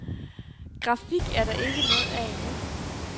Grafik er der ikke noget af endnu.